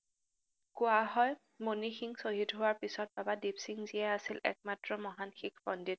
কোৱা হয়, মনিসিং শ্বহীদ হোৱাৰ পিচত বাবা দিপসিংজীয়ে আছিল একমাত্ৰ মহান শিখ পণ্ডিত